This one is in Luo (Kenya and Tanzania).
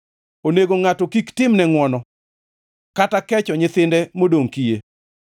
Onego ngʼato kik timne ngʼwono kata kecho nyithinde modongʼ kiye.